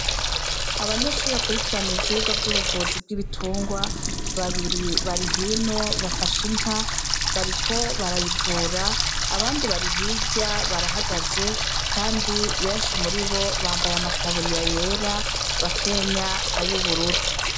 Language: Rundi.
Abanyeshuri bakurikirana ivyirwa vy'ubuvuzi bw'ibitungwa babiri bari hino bafashe inka bariko barayivura abandi bari hirya barahagaze, kandi benshi muri bo bambaye amataburiya yera bakenya ay'ubururu.